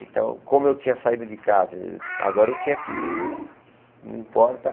Então, como eu tinha saído de casa, agora eu tinha que... não importa.